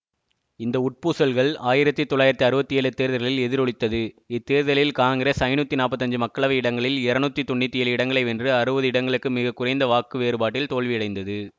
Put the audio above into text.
இந்த உட்பூசல்கள் ஆயிரத்தி தொள்ளாயிரத்தி அறுபத்தி ஏழு தேர்தல்களில் எதிரொளித்தது இத்தேர்தலில் காங்கிரஸ் ஐநூற்றி நாற்பத்தி ஐந்து மக்களவை இடங்களில் இருநூற்றி தொன்னூற்தி ஏழு இடங்களை வென்று அறுபது இடங்களுக்கு மிக குறைந்த வாக்கு வேறுபாட்டில் தோல்வியடைந்தது